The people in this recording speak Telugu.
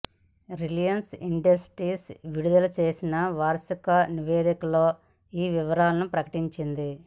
రిలయన్స్ ఇండస్ట్రీస్ విడుదల చేసిన వార్షిక నివేదికలో ఈ వివరాలను ప్రకటించింది